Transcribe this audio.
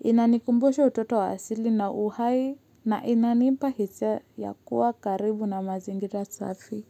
Inanikumbusha utoto wa asili na uhai na inanipa hisia ya kuwa karibu na mazingira safi.